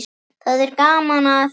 Það er gaman að þessu.